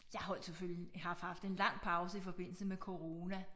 Jeg holdt selvfølgelig jeg har haft en lang pause i forbindelse med corona